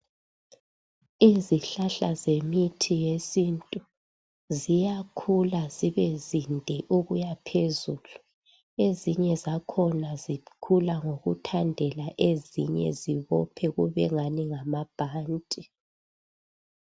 Izihlahla zemithi yesintu ziyakhula zibezinde ukuyaphezulu ezinye zakhona zikhula ngokuthandela ezinye zibophe kubengani ngamabhanti